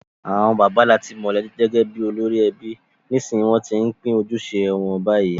Àwon bàbá làti mo gẹ́gẹ́ bi olórí ebi, nìsnsìnyí won ti n se àjopín ojúse won bayi